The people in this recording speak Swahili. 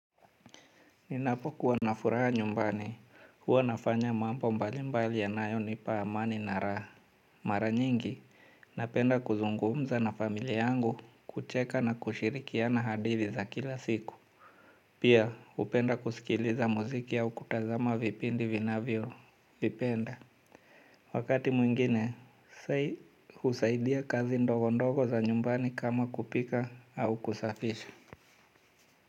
Ninapokuwa na furaha nyumbani, huwa nafanya mampo mbalimbali yanayonipa amani na ra. Mara nyingi, napenda kuzungumza na familia yangu, kucheka na kushirikiana hadithi za kila siku. Pia, upenda kusikiliza muziki au kutazama vipindi vinavyo. Vipenda. Wakati mwingine, usaidia kazi ndogo ndogo za nyumbani kama kupika au kusafisha.